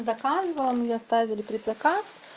заказывала мне оставили предзаказ